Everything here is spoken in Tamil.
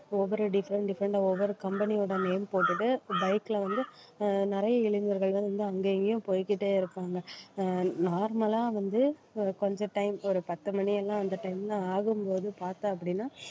ஒவ்வொரு different different ஆ ஒவ்வொரு company யோட name போட்டுட்டு bike ல வந்து அஹ் நிறைய இளைஞர்கள் வந்து அங்க இங்கயும் போய்க்கிட்டே இருப்பாங்க அஹ் normal ஆ வந்து அஹ் கொஞ்சம் time ஒரு பத்து மணி எல்லாம் அந்த time ல ஆகும்போது பார்த்த அப்படின்னா